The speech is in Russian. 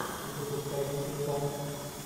запускай кибер панк